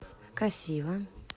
касива